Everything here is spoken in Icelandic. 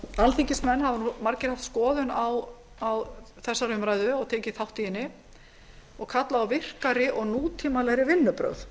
alþingismenn hafa margir haft skoðun á þessari umræðu og tekið þátt í henni og kallað á virkari og nútímalegri vinnubrögð